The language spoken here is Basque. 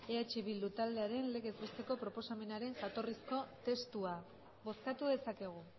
eh bildu taldearen legez besteko proposamenaren jatorrizko testua bozkatu dezakegu